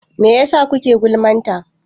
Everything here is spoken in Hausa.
Mai yasa kuke gulman ta?